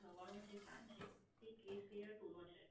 નવ્વાણું નો જે Plan છે તે Bress period two નો છે.